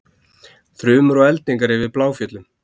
Þrumur og eldingar yfir Bláfjöllum